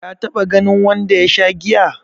ka taba ganin wanda ya Sha giya?